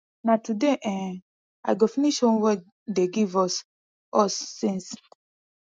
na today um i go finish homework dey give us us since